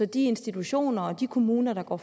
de institutioner og de kommuner der går